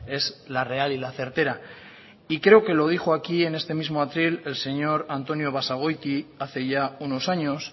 es la real y la certera y creo que lo dijo aquí en este mismo atril el señor antonio basagoiti hace ya unos años